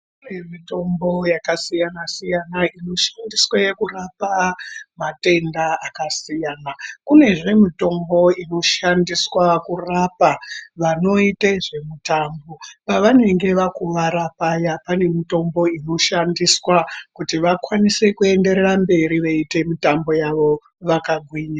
Kune mitombo yakasiyana -siyana inoshandiswe kurapa matenda akasiyana. Kunezve mitombo inoshandiswa kurapa vanoite zvemitambo pavenge vakuvara paya pane mitombo inoshandiswa kuti vakwanise kuenderera mberi veiite mitambo yavo vakagwinya.